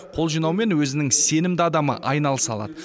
қол жинаумен өзінің сенімді адамы айналыса алады